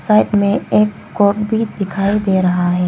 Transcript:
Rack में एक coat भी दिखाई दे रहा है।